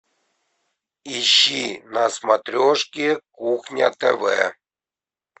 ищи на смотрешке кухня тв